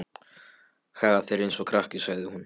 Hagar þér eins og krakki, sagði hún.